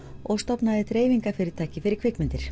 og stofnaði dreifingarfyrirtæki fyrir kvikmyndir